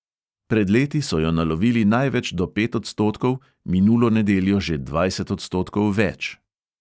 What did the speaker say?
Pred leti so jo nalovili največ do pet odstotkov, minulo nedeljo že dvajset odstotkov več.